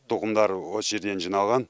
тұқымдар осы жерден жиналған